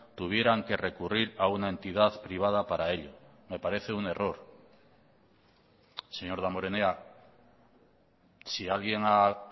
tuvieran que recurrir a una entidad privada para ello me parece un error señor damborenea si alguien ha